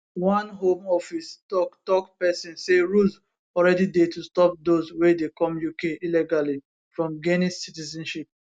one home office toktok pesin say rules already dey to stop dose wey dey come uk illegally from gaining citizenship